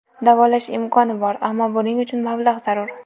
Davolash imkoni bor, ammo buning uchun mablag‘ zarur.